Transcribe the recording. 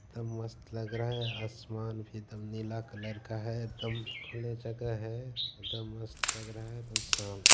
एकदम मस्त लग रहा है आसमान भी दम नीला कलर का है एकदम खुले जगह है एकदम मस्त लग रहा है। ----